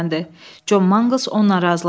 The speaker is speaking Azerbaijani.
John Mangles onunla razılaşdı.